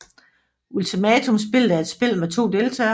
Ultimatumspillet er et spil med to deltagere